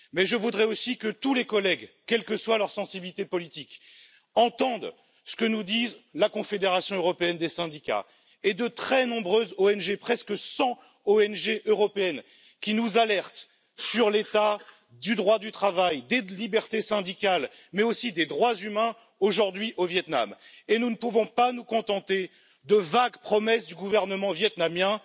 Mais je voudrais aussi que tous les collègues, quelle que soit leur sensibilité politique, entendent ce que nous disent la Confédération européenne des syndicats et de très nombreuses ONG presque 100 ONG européennes qui nous alertent sur l'état du droit du travail, des libertés syndicales, mais aussi des droits humains, aujourd'hui, au Viêt Nam. Nous ne pouvons pas nous contenter de vagues promesses du gouvernement vietnamien.